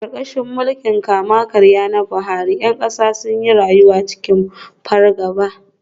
Karkashin mulkin kama-karya na Buhari, ’yan kasa sun yi rayuwa cikin fargaba.